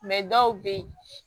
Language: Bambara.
dɔw bɛ yen